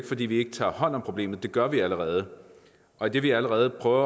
fordi vi ikke tager hånd om problemet det gør vi allerede og idet vi allerede prøver